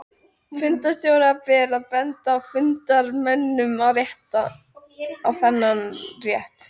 Fundarstjóra ber að benda fundarmönnum á þennan rétt.